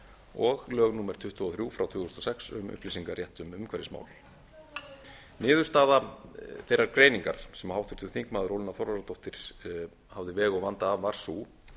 og lög númer tuttugu og þrjú tvö þúsund og sex um upplýsingarétt um umhverfismál niðurstaða þeirrar greiningar sem háttvirtur þingmaður ólína þorvarðardóttir hafði veg og vanda af var sú